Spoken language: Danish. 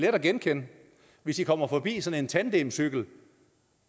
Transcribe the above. at genkende hvis i kommer forbi sådan en tandemcykel